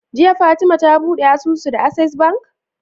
Jiya fatima ta buɗe asusu da acces bank?